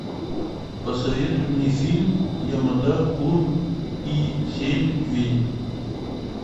посоветуй мне фильм ямада кун и семь ведьм